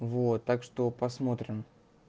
вот так что посмотрим